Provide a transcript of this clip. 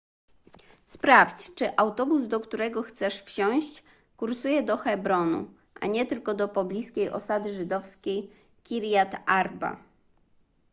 sprawdź czy autobus do którego chcesz wsiąść kursuje do hebronu a nie tylko do pobliskiej osady żydowskiej kirjat arba